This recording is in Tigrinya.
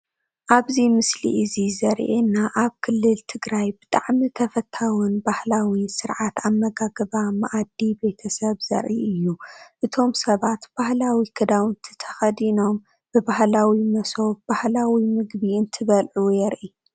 ኣብዚ ምስሊ እዚ ዘሪኤና ኣብ ክልል ትግራይ ብጣዕሚ ተፈታውን ባህላውን ስርዓት ኣመጋግባ መኣዲ ቤተሰብ ዘርኢ እዩ፡፡ እቶም ሰባት ባህላዊ ክዳውንቲ ተኸዲኖም ብባህላዊ መሶብ ፣ባህላዊ ምግቢ እንትበልዑ የርኢ፡፡